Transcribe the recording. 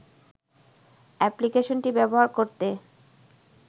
অ্যাপক্লিকেশনটি ব্যবহার করতে